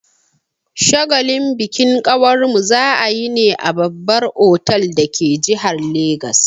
Shagalin bikin kawarmu za'a yi ne a babbar otal dake jihar Legas.